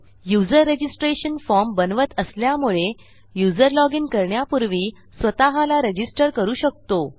user registration form बनवत असल्यामुळे user login करण्यापूर्वी स्वतःला रजिस्टर करू शकतो